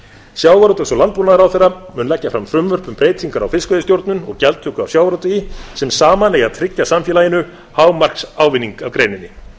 sjávarútvegs og landbúnaðarráðherra mun leggja fram frumvörp um breytingar á fiskveiðistjórn og gjaldtöku af sjávarútvegi sem saman eiga að tryggja samfélaginu hámarksávinning af greininni